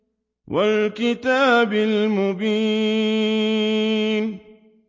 وَالْكِتَابِ الْمُبِينِ